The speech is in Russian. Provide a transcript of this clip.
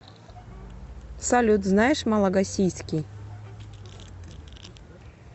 салют знаешь малагасийский